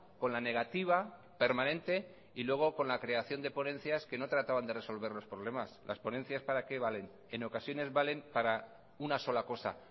con la negativa permanente y luego con la creación de ponencias que no trataban de resolver los problemas las ponencias para qué valen en ocasiones valen para una sola cosa